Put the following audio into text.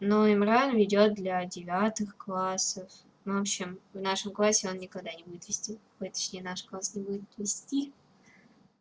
ну имран ведёт для девятых классов в общем в нашем классе он никогда не будет вести точнее наш класс не будет вести